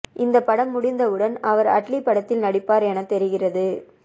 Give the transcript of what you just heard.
இந்த படம் முடிந்தவுடன் அவர் அட்லி படத்தில் நடிப்பார் என தெரிகிறது